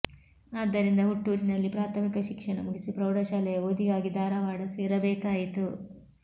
ಆದ್ದರಿಂದ ಹುಟ್ಟೂರಿನಲ್ಲಿ ಪ್ರಾಥಮಿಕ ಶಿಕ್ಷಣ ಮುಗಿಸಿ ಪ್ರೌಢಶಾಲೆಯ ಓದಿಗಾಗಿ ಧಾರವಾಡ ಸೇರಬೇಕಾಯಿತು